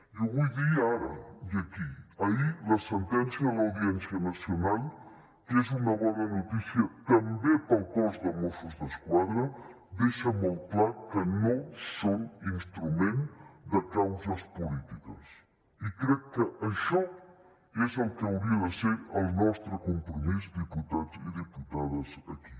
i ho vull dir ara i aquí ahir la sentència de l’audiència nacional que és una bona notícia també per al cos de mossos d’esquadra deixa molt clar que no són instrument de causes polítiques i crec que això és el que hauria de ser el nostre compromís diputats i diputades aquí